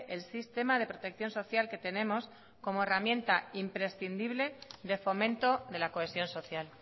el sistema de protección social que tenemos como herramienta imprescindible de fomento de la cohesión social